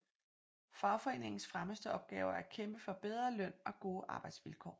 Fagforeningens fremmeste opgaver er at kæmpe for bedre løn og gode arbejdsvilkår